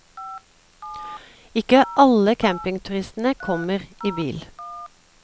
Ikke alle campingturister kommer i bil.